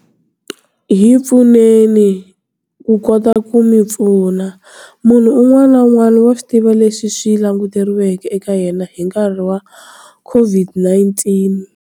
Hi pfuneni ku kota ku mi pfuna. Munhu un'wana na un'wana wa swi tiva leswi swi languteriweke eka yena hi nkarhi wa COVID-19.